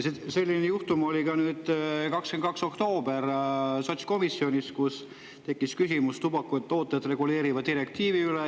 Selline juhtum oli ka 22. oktoobril sotskomisjonis, kus tekkis küsimus tubakatooteid reguleeriva direktiivi kohta.